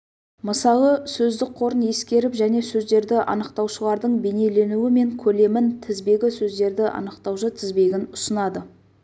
мысалы сөздік қорын ескеріп және сөздерді анықтаушылардың бейнеленуі мен көлемін тізбегі сөздерді анықтаушы тізбегін ұсынады